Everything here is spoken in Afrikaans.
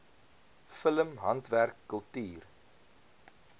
film handwerk kultuur